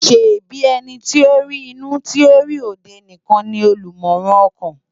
ṣèbi èniti ó ri inú ti ó ri ódé nikán ni ólúmòrán òkán?